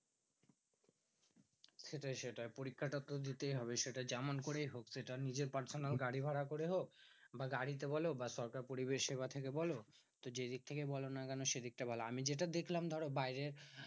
সেটাই সেটা পরীক্ষাটা তো দিতেই হবে। সেটা যেমন করেই হোক, সেটা নিজের personal গাড়ি ভাড়া করে হোক বা গাড়িতে বোলো বা সরকার পরিষেবা থেকে বোলো যে দিক থেকে বলোনা কেন? সেদিকটা বোলো। আমি যেটা দেখলাম ধরো বাইরে